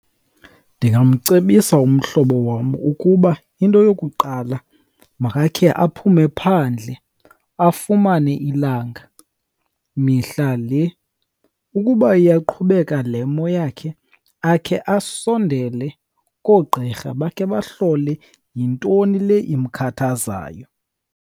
Ndingamcebisa umhlobo wam ukuba into yokuqala makakhe aphume phandle afumane ilanga mihla le. Ukuba iyaqhubekeka le mo yakhe akhe asondele koogqirha bakhe bahlole yintoni le imkhathazayo.